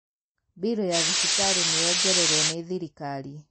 mbiru ya thibitarī nīyongererwo nī thirikari